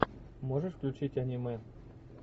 можешь включить аниме